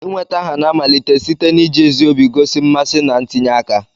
Inweta aha na-amalite site n'iji ezi obi gosi mmasị na ntinye aka.